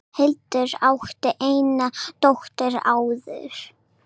Hildur átti eina dóttur áður.